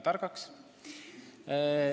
– väga targaks.